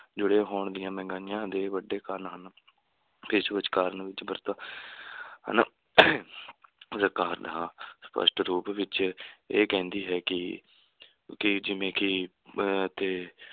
ਜੁੜੇ ਹੋਣ ਦੀਆਂ ਮਹਿੰਗਾਈਆਂ ਦੇ ਵੱਡੇ ਕਾਰਨ ਹਨ ਹਨਾ ਸਰਕਾਰ ਤਾ ਸਪੱਸ਼ਟ ਰੂਪ ਵਿਚ ਇਹ ਕਹਿੰਦੀ ਹੈ ਕਿ ਕਿ ਜਿਵੇਂ ਕਿ ਅਹ ਤੇ